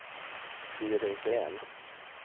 Siri Green